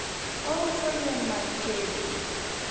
ouso yien mag tedo